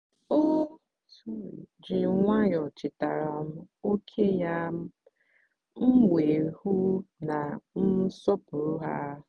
o ji nwayọọ chetara m ókè ya m wee hụ na m sọpụrụ ha.